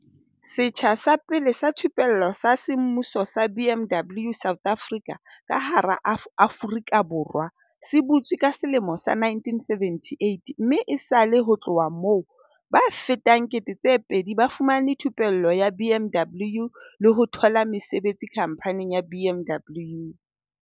"Setsha sa pele sa thupello sa semmuso sa BMW South Africa ka hara Aforika Borwa se butswe ka selemo sa 1978 mme esale ho tloha moo, ba fetang 2 000 ba fumane thupello ya BMW le ho thola mesebetsi khamphaning ya BMW."